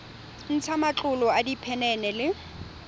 ntsha matlolo a diphenene le